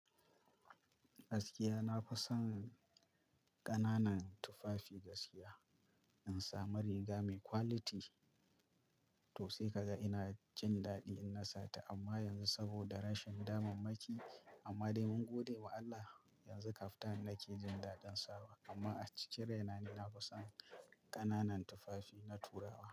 Gaskiya na fi son ƙananan tufafi gaskiya, in samu riga mai quality to sai ka ga ina jin daɗi in nasata amma yanzu saboda rashin damammaki amma dai mun gode wa Allah, yanzu kaftan nake jin daɗin sawa amma a cikin rai na ni na fi son ƙananan tufafi na turawa.